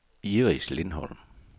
Iris Lindholm